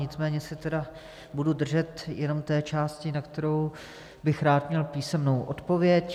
Nicméně se tedy budu držet jen té části, na kterou bych rád měl písemnou odpověď.